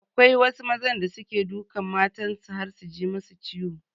Akwai wasu mazan da suke dukan matan su har su ji masu ciwo.